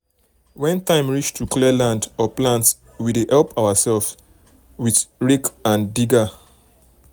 when time reach to clear land or plant we dey help ourselves dey help ourselves with rake and digger.